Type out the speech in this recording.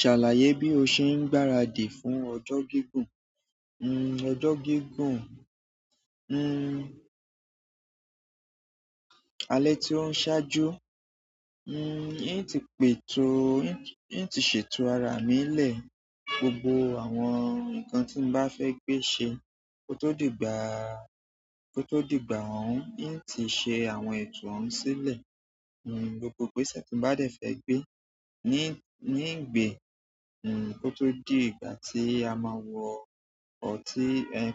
Ṣàlàyé bí o ṣe ń gbáradì fún ọjọ́ gígùn. Hmm ọjọ́ gígùn, hmm alẹ́ tí ó ń ṣáájú. Hmm ín ti pètò, ín ti ṣètò ara mi lẹ̀, gbogbo àwọn nǹkan tí mbá fẹ́ gbe ṣe kó tó dìgbà, kó tó dìgbà oun. In ti ṣe àwọn ètò ohun sílẹ̀. Gbogbo igbéṣẹ̀ ti mbá dẹ̀ fẹ́ gbé in gbè, kó tó di ìgbà tí a máa wọ ọtí,